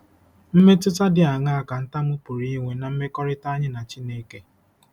Mmetụta dị aṅaa ka ntamu pụrụ inwe ná mmekọrịta anyị na Chineke?